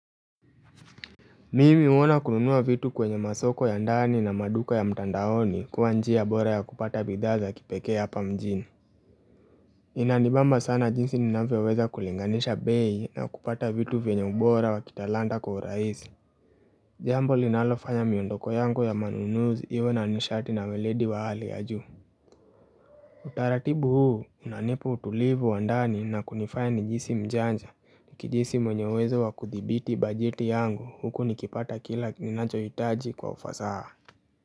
Mimi uona kununua vitu kwenye masoko ya ndani na maduka ya mtandaoni kuwa njia bora ya kupata bidhaa za kipekee hapa mjini. Inanibamba sana jinsi ninavyoweza kulinganisha bei na kupata vitu vyenye ubora wa kita lanta kwa raisi. Jambo linalofanya miondoko yangu ya manunuzi iwe na nishati na weledi wa hali ya juu. Utaratibu huu unanipa utulivu wandani na kunifaya nijisi mjanja Niki jisi mwenyeuwezo wa kuthibiti bajeti yangu huku nikipata kila ninacho hitaji kwa ufasaha.